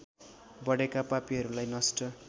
बढेका पापीहरूलाई नष्ट